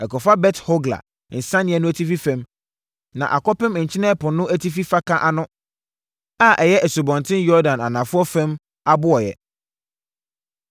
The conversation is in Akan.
ɛkɔfa Bet-Hogla nsianeɛ no atifi fam na akɔpem Nkyene Ɛpo no atifi faka ano a ɛyɛ Asubɔnten Yordan anafoɔ fam abɔeɛ.